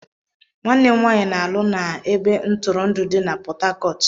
Nwanne m nwanyị na-alụ na ebe ntụrụndụ dị na Port Harcourt.